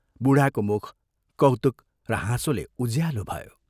बूढाको मुख कौतुक र हाँसोले उज्यालो भयो।